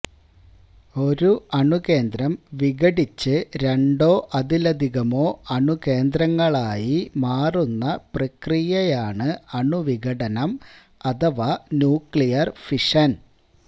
ഒരു അണുകേന്ദ്രം വിഘടിച്ച് രണ്ടോ അതിലധികമോ അണുകേന്ദ്രങ്ങളായി മാറുന്ന പ്രക്രിയയാണ് അണുവിഘടനം അഥവാ ന്യൂക്ളിയര് ഫിഷന്